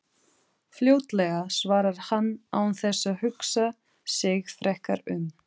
Fljótlega, svarar hann án þess að hugsa sig frekar um.